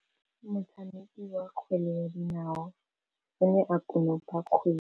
Motshameki wa kgwele ya dinaô o ne a konopa kgwele.